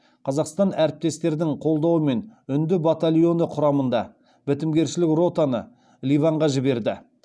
қазақстан әріптестердің қолдауымен үнді батальоны құрамында бітімгершілік ротаны ливанға жіберді